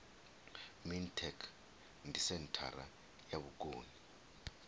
mintek ndi senthara ya vhukoni